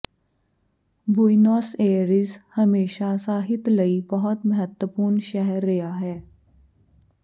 Buenos Aires ਹਮੇਸ਼ਾ ਸਾਹਿਤ ਲਈ ਬਹੁਤ ਮਹੱਤਵਪੂਰਨ ਸ਼ਹਿਰ ਰਿਹਾ ਹੈ